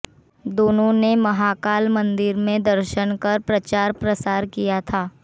दोनों ने महाकाल मंदिर में दर्शन कर प्रचार प्रसार किया था